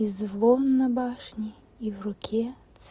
и звон на башне и в руке